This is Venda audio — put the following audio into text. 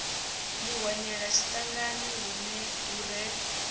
ḓi hwenyela tshiṱangani hu re